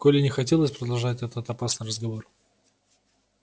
коле не хотелось продолжать этот опасный разговор